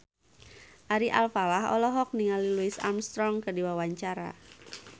Ari Alfalah olohok ningali Louis Armstrong keur diwawancara